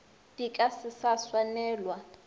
di ka se sa swanelwa